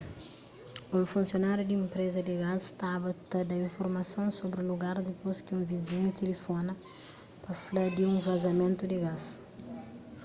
un funsionáriu di enpreza di gás staba ta da informason sobri lugar dipôs ki un vizinhu tilifona pa fla di un vazamentu di gás